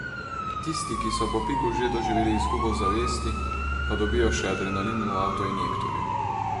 Tisti, ki so po piku že doživeli izgubo zavesti, pa dobijo še adrenalin v avtoinjektorju.